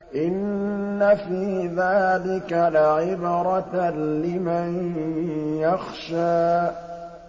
إِنَّ فِي ذَٰلِكَ لَعِبْرَةً لِّمَن يَخْشَىٰ